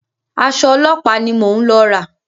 Aṣọ ọlọ́pàá ni mò ń lọ rà.